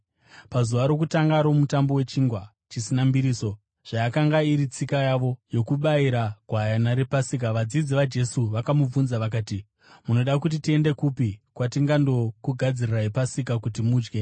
Pazuva rokutanga roMutambo weChingwa Chisina Mbiriso, zvayakanga iri tsika yavo yokubayira gwayana rePasika, vadzidzi vaJesu vakamubvunza vakati, “Munoda kuti tiende kupi kwatingandokugadzirirai Pasika kuti mudye?”